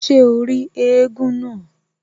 Ṣé o rí éégún náà?